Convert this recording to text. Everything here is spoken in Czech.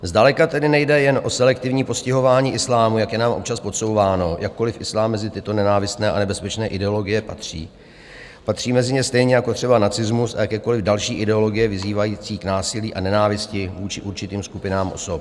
Zdaleka tedy nejde jen o selektivní postihování islámu, jak je nám občas podsouváno, jakkoliv islám mezi tyto nenávistné a nebezpečné ideologie patří, patří mezi ně stejně jako třeba nacismus a jakékoliv další ideologie vyzývající k násilí a nenávisti vůči určitým skupinám osob.